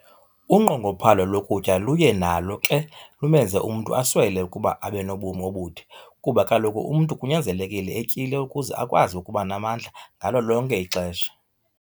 Unqongophalo lokutya luye nalo ke lumenze umntu aswele ukuba abenobomi obude kuba kaloku umntu kunyanzelekile etyile ukuze akwazi ukuba namamndla ngalo lonke ixesha.